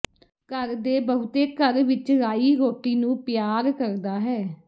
ਘਰ ਦੇ ਬਹੁਤੇ ਘਰ ਵਿਚ ਰਾਈ ਰੋਟੀ ਨੂੰ ਪਿਆਰ ਕਰਦਾ ਹੈ